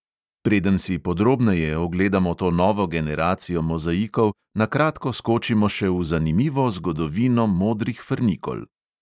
Preden si podrobneje ogledamo to novo generacijo mozaikov, na kratko skočimo še v zanimivo zgodovino modrih frnikol.